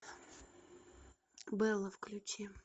белла включи